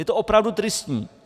Je to opravdu tristní.